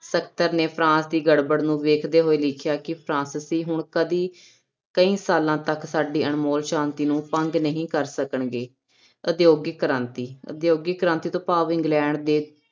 ਨੇ ਫਰਾਂਸ ਦੀ ਗੜਬੜ ਨੂੰ ਵੇਖਦੇ ਹੋਏ ਲਿਖਿਆ ਕਿ ਫਰਾਂਸਿਸੀ ਹੁਣ ਕਦੇ, ਕਈ ਸਾਲਾਂ ਤੱਕ ਸਾਡੀ ਅਣਮੋਲ ਸ਼ਾਂਤੀ ਨੂੰ ਭੰਗ ਨਹੀਂ ਕਰ ਸਕਣਗੇ, ਉਦਯੋਗਿਕ ਕ੍ਰਾਂਤੀ, ਉਦਯੋਗਿਕ ਕ੍ਰਾਂਤੀ ਤੋਂ ਭਾਵ ਇੰਗਲੈਂਡ ਦੇ